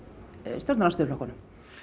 stjórnarandstöðuflokkunum